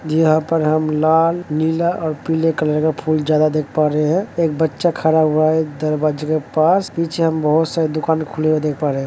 यहाँ पर हम लाल नीला और पीले कलर का फूल ज्यादा देख पा रहे हैं। एक बच्चा खड़ा हुआ है दरवाजे के पास पीछे हम बहोत सारी दुकान खुली हुई देख पा रहे हैं।